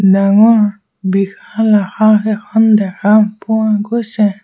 ডাঙৰ বিশাল আকাশ এখন দেখা পোৱা গৈছে।